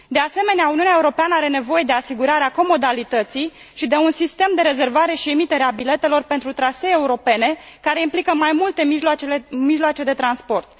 De asemenea, Uniunea Europeană are nevoie de asigurarea comodalității și de un sistem de rezervare și emitere a biletelor pentru trasee europene care implică mai multe mijloace de transport.